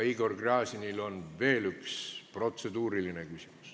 Igor Gräzinil on veel üks protseduuriline küsimus.